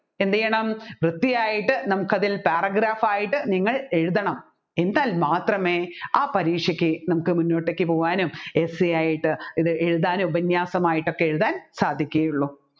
എന്തുചെയ്യണം വൃത്തിയായിട്ട് നമ്മുക്ക് അതിൽ paragraph യിട്ട് നിങ്ങൾ എഴുതണം എന്നാൽ മാത്രമേ ആ പരീക്ഷക്കു നമ്മുക്ക് മുന്നോട്ടേക്ക് പോവാനും essay യായിട്ട് ഇത് എഴുതാനും ഉപന്യാസമായിട്ടൊക്കെ എഴുതാൻ സാധിക്കുകയുള്ളു